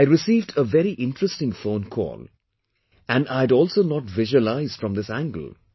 I received a very interesting phone call and I had also not visualized from this angle